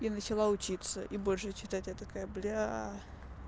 и начала учиться и больше читать я такая блядь